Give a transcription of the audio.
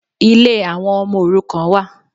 Ilé àwọn ọmọ òrukàn wà.